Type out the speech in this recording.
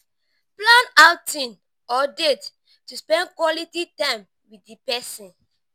plan outing or date to spend quality time with di person